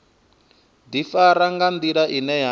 ḓifara nga nḓila ine ya